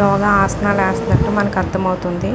యోగా ఆసనాలు ఏస్తున్నటు మనకి అర్థమవుతుంది